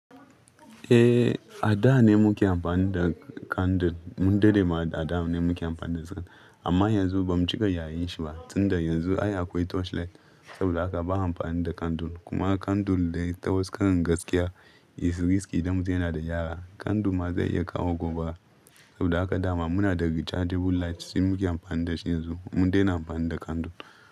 Eh, a da ne muke amfani da kandul. Mun dade ma da a da ne muke amfani da su amma yanzu bamu cika yayin shi ba. Tunda yanzu ai akwai torchlight saboda haka ba a amfani da kandul kuma kandul dai ta wasu karin gaskiya, is risky idan mutum yana da yara. Kandul ma zai iya kawo gobara saboda haka dama muna da rechargeable light sai muke amfani da shi yanzu. Mun daina amfani da kandul.